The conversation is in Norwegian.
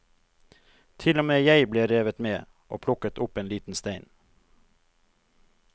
Til og med jeg ble revet med, og plukket opp en liten stein.